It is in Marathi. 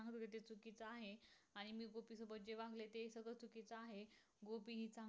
तिचा आहे. आणि मी गोपी सोबत जे वागले ते सगळ चुकीचं आहे. गोपी हि